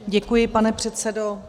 Děkuji, pane předsedo.